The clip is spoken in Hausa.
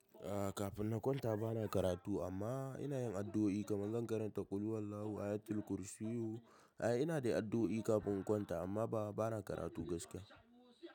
Ah kafin na kwanta bana karatu amma ina yin addu'o'i kamar zan karanta ƙuluwallahu, ayatul kursiyu. Ai ina dai addu'o'i kafin in kwanta amma ba bana karatu gaskiya.